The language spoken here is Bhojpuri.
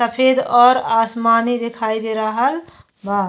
सफ़ेद और आसमानी दिखाई दे रहल बा।